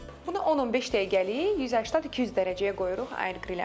Bunu 10-15 dəqiqəlik 180-200 dərəcəyə qoyuruq air-grillə.